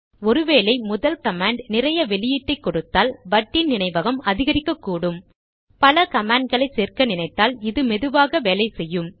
ஒரு வேளை முதல் கமாண்ட் நிறைய வெளியீட்டை கொடுத்தால் வட்டின் நினைவகம் அதிகரிக்ககூடும் பல கமாண்ட்களை சேர்க்க நினைத்தால் இது மெதுவாகவே வேலை செய்யும்